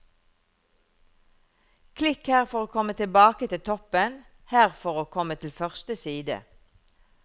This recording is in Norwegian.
Klikk her for å komme tilbake til toppen, her for å komme til første side.